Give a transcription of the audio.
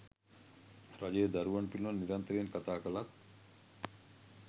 රජය දරුවන් පිළිබඳ නිරන්තරයෙන් කතා කළත්